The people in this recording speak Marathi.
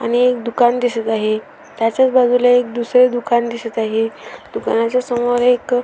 आणि एक दुकान दिसत आहे त्याच्याच बाजूला एक दुसर दुकान दिसत आहे दुकानाच्या समोर एक --